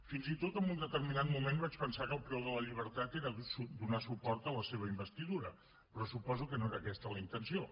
fins i tot en un determinat moment vaig pensar que el preu de la llibertat era donar suport a la seva investidura però suposo que no era aquesta la intenció